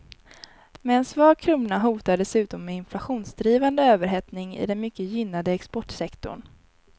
Med en svag krona hotar dessutom en inflationsdrivande överhettning i den mycket gynnade exportsektorn.